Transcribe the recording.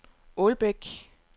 Ålbæk